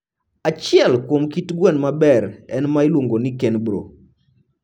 Achiel kuom kit gwen mober en ma iluongo ni Kenbro.